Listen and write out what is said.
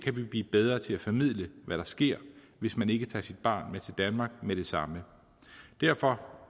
blive bedre til at formidle hvad der sker hvis man ikke tager sit barn med til danmark med det samme derfor